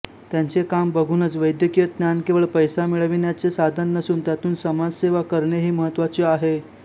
त्यांचे काम बघूनच वैद्यकीय ज्ञान केवळ पैसा मिळविण्याचे साधन नसून त्यातून समाजसेवा करणेही महत्त्वाचे आहे